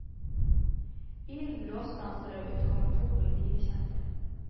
Bilen bråstanser, og ut kommer to politibetjenter.